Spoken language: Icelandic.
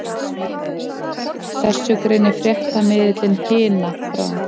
Þessu greinir fréttamiðillinn Hina frá